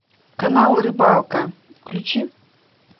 канал рыбалка включи